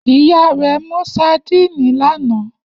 Iya rẹ mu sadíìnì lana.